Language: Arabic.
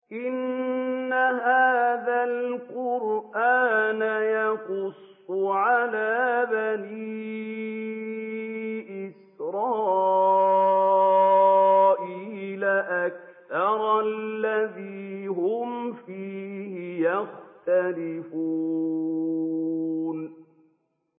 إِنَّ هَٰذَا الْقُرْآنَ يَقُصُّ عَلَىٰ بَنِي إِسْرَائِيلَ أَكْثَرَ الَّذِي هُمْ فِيهِ يَخْتَلِفُونَ